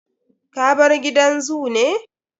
Ka bar gidan zoo ne?